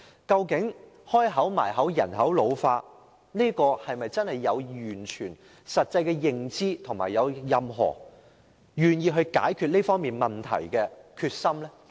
雖然政府口口聲聲表示人口老化嚴重，但政府有否完全的實際認知，以及有否任何願意解決這問題的決心呢？